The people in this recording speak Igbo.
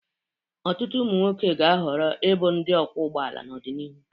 Ọtụtụ ụmụ nwoke ga-ahọrọ ịbụ ndị ọkwọ ụgbọala n'ọdịnihu.